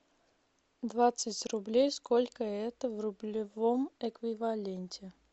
двадцать рублей сколько это в рублевом эквиваленте